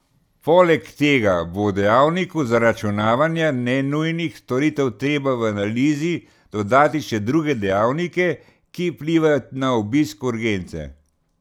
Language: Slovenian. Poleg tega bo dejavniku zaračunavanja nenujnih storitev treba v analizi dodati še druge dejavnike, ki vplivajo na obisk urgence.